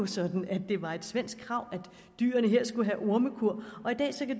sådan at det var et svensk krav at dyrene skulle have ormekur og